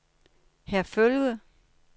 Herfølge